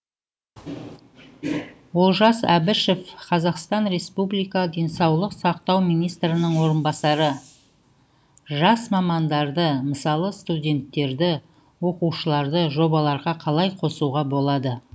олжас әбішев қазақстан республика денсаулық сақтау министрінің орынбасары жас мамандарды мысалы студенттерді оқушыларды жобаларға қалай қосуға болады